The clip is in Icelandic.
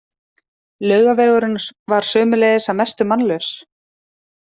Laugavegurinn var sömuleiðis að mestu mannlaus.